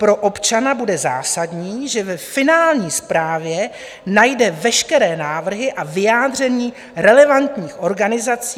Pro občana bude zásadní, že ve finální zprávě najde veškeré návrhy a vyjádření relevantních organizací.